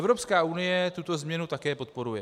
Evropská unie tuto změnu také podporuje.